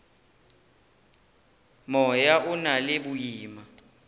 moya o na le boima